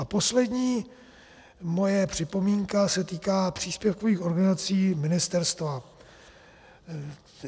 A poslední moje připomínka se týká příspěvkových organizací ministerstva.